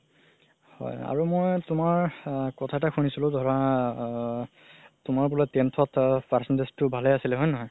হয় আৰু মই তুমাৰ কথা এটা শুনিছিলো ধৰা আ তুমাৰ বুলে tenth ত percentage ও ভালে আছিলে হয় নে নহয়